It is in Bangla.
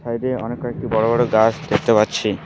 সাইড -এ অনেক কয়েকটি বড়ো বড়ো গাছ দেখতে পাচ্ছি।